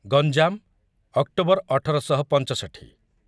Ganjam October ଅଠର ଶହ ପଞ୍ଚଷଠୀ